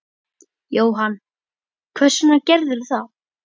Jóhann: Hvers vegna gerðirðu það?